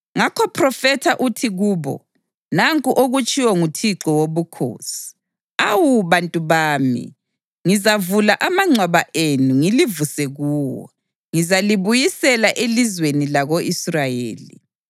Ngakho phrofetha uthi kubo: ‘Nanku okutshiwo nguThixo Wobukhosi: Awu bantu bami, ngizavula amangcwaba enu ngilivuse kuwo; ngizalibuyisela elizweni lako-Israyeli.